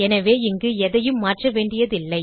எனவே இங்கு எதையும் மாற்ற வேண்டியதில்லை